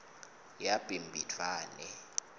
yabhimbidvwane